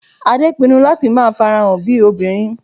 Adé pinnu láti máa farahàn bíi obìnrin